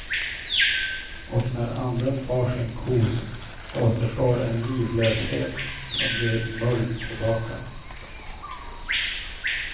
Och när anden far sin kos återstår en livlöshet som blir mull tillbaka.